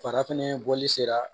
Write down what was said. Fara fɛnɛ bɔli sera